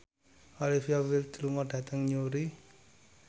Olivia Wilde lunga dhateng Newry